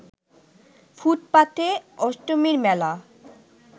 ফুটপাথে অষ্টমীর মেলা